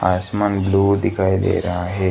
आसमान ब्लू दिखाई दे रहा है।